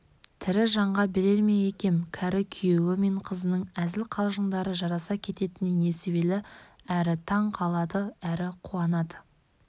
тірі жанға берер ме екем кәрі күйеуі мен қызының әзіл-қалжыңдары жараса кететініне несібелі әрі таң қалады әрі қуанады